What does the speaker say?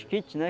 né?